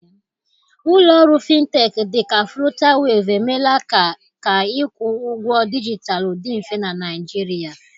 Ụlọ ọrụ Fintech dị ka Flutaweevu emeela ka ka ịkwụ ụgwọ dijitalụ dị mfe na Naịjirịa